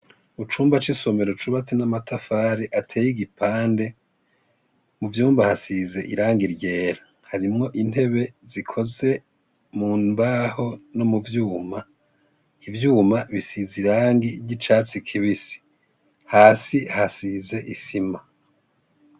Ucumba c'isomero cubatse n'amatafare ateye igipande mu vyumba hasize iranga iryera harimwo intebe zikoze mu mbaho no mu vyuma ivyuma bisize irangi ry'icatsi kibisi hasi hasize isima.